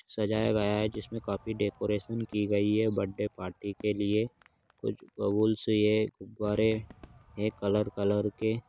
सजाया गया है जिसमें काफी डेकोरेशन की गई है बर्थडे पार्टी के लिए कुछ बैलूनस है गुब्बारे है कलर कलर के--